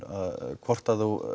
hvort